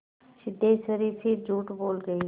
सिद्धेश्वरी फिर झूठ बोल गई